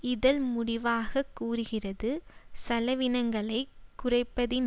இதழ் முடிவாகக் கூறுகிறது செலவினங்களை குறைப்பதின்